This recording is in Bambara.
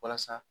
Walasa